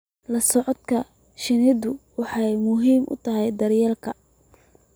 La socodka shinnidu waxay muhiim u tahay daryeelka.